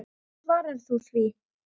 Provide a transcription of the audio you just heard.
Hverju svarar þú því?